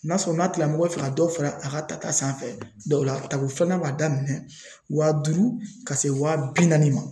N'a sɔrɔ n'a tigilamɔgɔ fɛ ka dɔ fara a ka tata sanfɛ dɔw la tako filanan b'a daminɛ wa duuru ka se wa bi naani ma